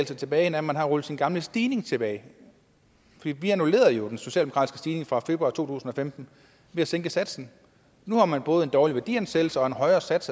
tilbage næh man har rullet sin gamle stigning tilbage vi annullerede jo den socialdemokratiske stigning fra februar to tusind og femten ved at sænke satsen nu har man både en dårlig værdiansættelse og en højere sats